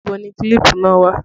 Ìbò ni kílípù náà wà?